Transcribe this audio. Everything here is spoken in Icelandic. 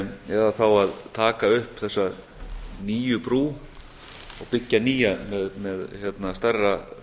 eða þá að taka upp þessa nýju brú og byggja nýja með stærra